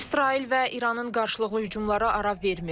İsrail və İranın qarşılıqlı hücumları ara vermir.